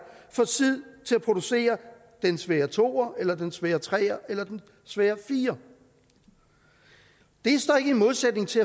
får tid til at producere den svære toer eller den svære treer eller den svære firer det står ikke i modsætning til